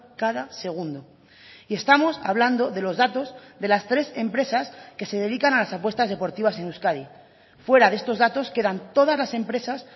cada segundo y estamos hablando de los datos de las tres empresas que se dedican a las apuestas deportivas en euskadi fuera de estos datos quedan todas las empresas